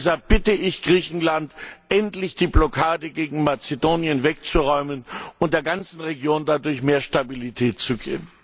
Deshalb bitte ich Griechenland, endlich die Blockade gegen Mazedonien wegzuräumen und der ganzen Region dadurch mehr Stabilität zu geben.